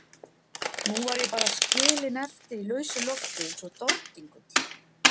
Nú var ég bara skilin eftir í lausu lofti eins og dordingull.